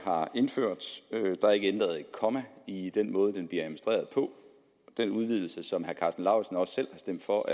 har indført der er ikke ændret et komma i den måde den bliver administreret på den udvidelse af ordningen som herre karsten lauritzen også selv har stemt for